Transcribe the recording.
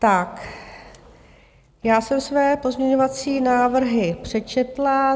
Tak, já jsem své pozměňovací návrhy přečetla.